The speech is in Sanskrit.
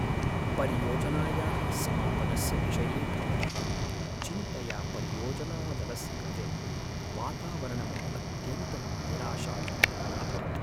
परियोजनायाः समापनस्य विषये भवतः चिन्तया परियोजनादलस्य कृते वातावरणम् अत्यन्तं निराशाजनकम् अभवत्।